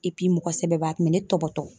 mɔgɔ sɛbɛba a kun me ne tɔbɔtɔ.